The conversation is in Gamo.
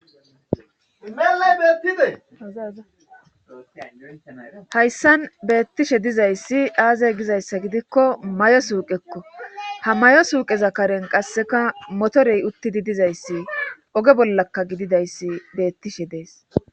hayssan beettishe dizayssi aaze gizayssa gidikko mayo suuqekko ha mayo suuqeza karen qasseka motorey uttidi dizayssi oge bollaka gididayssi beettishe dees.